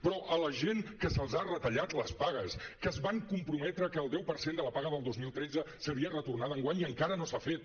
però a la gent que se’ls han retallat les pagues que es van comprometre que el deu per cent de la paga del dos mil tretze seria retornada enguany i encara no s’ha fet